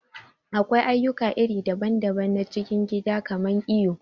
Akwai aƴuka iri daɓan-daɓan na cikin gida kaman iyo.